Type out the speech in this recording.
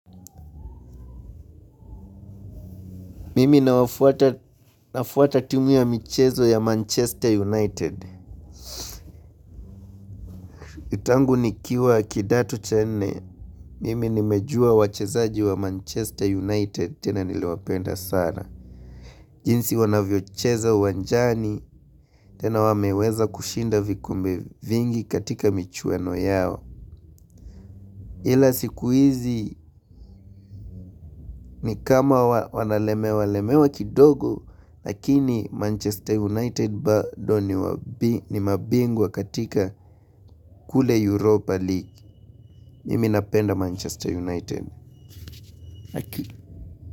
Mimi na wafuata timu ya michezo ya Manchester United. Tangu nikiwa kidato cha nne, mimi nimejua wachezaji wa Manchester United tena niliwapenda sana. Jinsi wanavyocheza wanjani tena wameweza kushinda vikombe vingi katika michueno yao. Hila siku hizi ni kama wanalemewa lemewa kidogo, lakini Manchester United bado ni ni mabingu wakatika kule Europa League. Mimi napenda Manchester United.